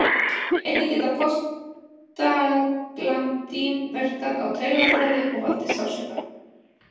Einnig geta prostaglandín verkað á taugaþræði og valdið sársauka.